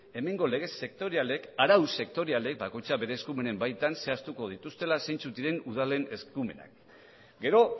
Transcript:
hemengo lege sektorialek arau sektorialek bakoitza bere eskumenen baitan zehaztuko dituztela zeintzuk diren udalen eskumenak gero